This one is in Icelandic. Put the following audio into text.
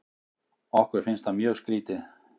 Okkur finnst það mjög skrítið.